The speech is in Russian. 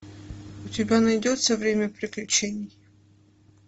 у тебя найдется время приключений